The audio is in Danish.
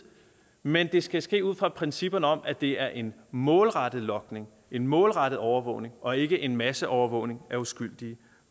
men det skal ske ud fra principperne om at det er en målrettet logning en målrettet overvågning og ikke en masseovervågning af uskyldige